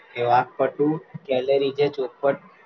કે વાક્પટુ કરેલી જે ચોખવટ